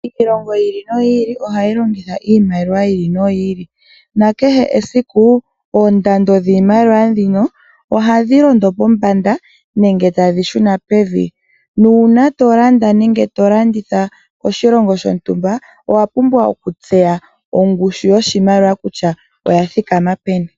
Iilongo yi ili noyi ili ohahi longitha iimaliwa yi ili noyi ili nakehe oondando dhiimaliwa ndhino hadhi londo pombanda nenge tadhi shuna pevi nuuna tolanda nenge tolanditha koshilongo shontumba owa pumbwa oku tseya okungushu yoshimaliwa kutya oya thikama peni.